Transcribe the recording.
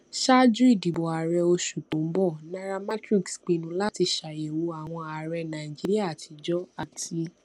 ṣáájú ìdìbò ààrẹ oṣù tó ń bọ nairametrics pinnu láti ṣàyẹwò àwọn ààrẹ nàìjíríà àtijó àti